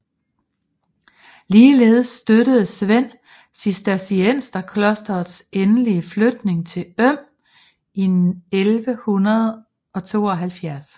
Ligeledes støttede Svend cistercienserklosterets endelige flytning til Øm i 1172